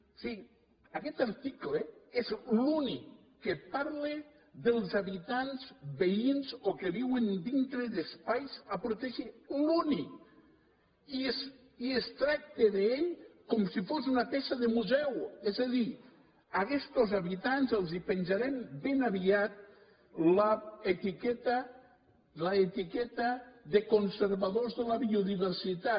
en fi aguest article és l’únic que parla dels habitants veïns o que viuen dintre d’espais a protegir l’únic i es tracta d’ell com si fos una peça de museu és a dir a aguestos habitants els penjarem ben aviat l’etiqueta de conservadors de la biodiversitat